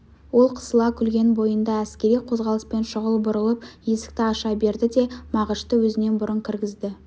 ол қысыла күлген бойында әскери қозғалыспен шұғыл бұрылып есікті аша берді де мағышты өзінен бұрын кіргізді